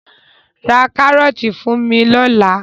Ra kárọ́ọ́tì fún mi lọ́la!